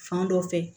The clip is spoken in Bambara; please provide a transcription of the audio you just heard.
Fan dɔ fɛ